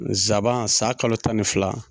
zaban san kalo tan ni fila